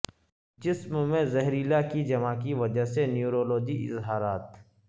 جسم میں زہریلا کی جمع کی وجہ سے نیورولوجی اظہارات